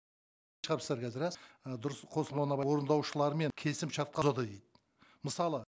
шығарыпсыздар қазір рас і дұрыс қосылмауына орындаушылармен келісімшартқа мысалы